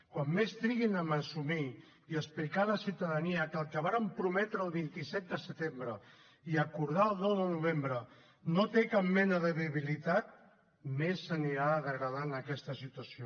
com més triguin a assumir i a explicar a la ciutadania que el que varen prometre el vint set de setembre i acordar el nou de novembre no té cap mena de viabilitat més s’anirà degradant aquesta situació